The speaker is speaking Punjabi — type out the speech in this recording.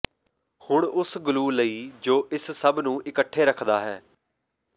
ਹੁਣ ਉਸ ਗਲੂ ਲਈ ਜੋ ਇਸ ਸਭ ਨੂੰ ਇਕੱਠੇ ਰੱਖਦਾ ਹੈ